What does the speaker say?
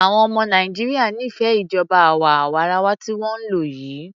Àwọn ọmọ Nàìjíríà nífẹẹ ìjọba àwa arawa tí wọ́n ń lò yìí.